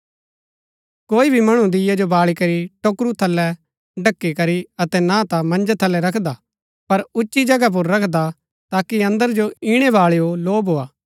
कोई भी मणु दीये जो बाळी करी टोकरू थलै ढ़की करी अतै ना ता मन्जै थलै रखदा पर उच्ची जगह पुर रखदा ताकि अन्दरा जो इणै बाळैओ लौ भोआ